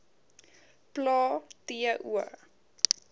plae t o